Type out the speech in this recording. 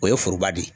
O ye foroba de ye